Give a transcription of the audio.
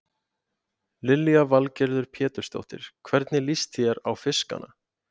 Lillý Valgerður Pétursdóttir: Hvernig líst þér á fiskana?